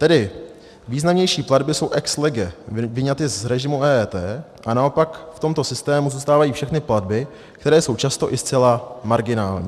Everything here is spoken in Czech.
Tedy významnější platby jsou ex lege vyňaty z režimu EET a naopak v tomto systému zůstávají všechny platby, které jsou často i zcela marginální.